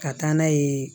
Ka taa n'a ye